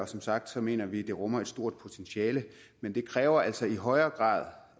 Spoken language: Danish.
som sagt mener vi det rummer et stort potentiale men det kræver altså i højere grad